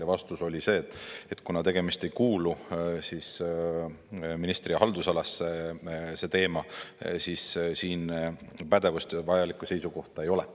Ja vastus oli see, et kuna see teema ei kuulu ministri haldusalasse, siis siin pädevust ja vajalikku seisukohta ei ole.